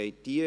Abstimmung